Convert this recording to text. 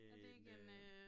Er det ikke en øh